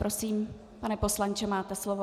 Prosím, pane poslanče, máte slovo.